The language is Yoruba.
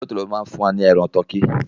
Tòló-tòló ló má ń fún wa ní ẹran tọkí.